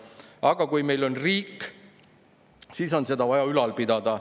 Aga kui meil on riik, siis on seda vaja üleval pidada.